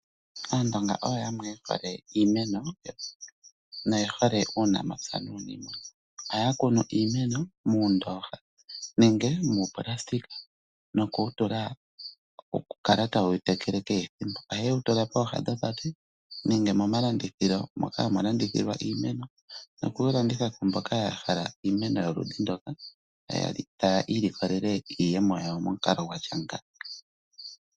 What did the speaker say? Aandonga oyo yamwe ye hole iimeno noye hole uunamapya nuuniimuna. Ohaya kunu iimeno muundooha nenge muupulasitika noku wu tula okukala taye wu tekele kehe thimbo. Ohaye wu tula pooha dhopate nenge momalandithilo moka hamu landithilwa iimeno nokuwu landitha ku mboka ya hala iimeno yoludhi ndoka taya ilikolele iiyemo yawo momukalo gwa tya nga.